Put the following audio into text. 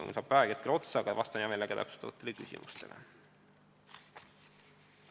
Mul saab aeg kohe otsa, aga vastan hea meelega täpsustavatele küsimustele.